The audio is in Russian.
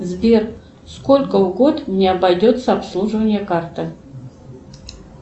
сбер сколько в год мне обойдется обслуживание карты